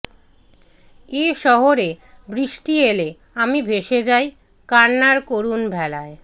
এ শহরে বৃষ্টি এলে আমি ভেসে যাই কান্নার করুণ ভেলায়